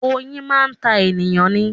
Oyin máa ń ta ènìyàn ni